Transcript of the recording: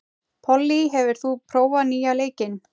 Pollý, hefur þú prófað nýja leikinn?